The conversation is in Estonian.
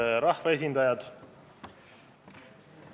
Head rahvaesindajad!